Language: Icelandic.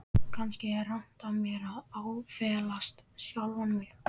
Kannski er rangt af mér að áfellast sjálfan mig.